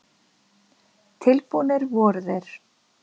Tilbúnir voru þeir.